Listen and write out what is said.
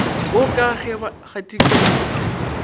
wo ka ge ba gatikela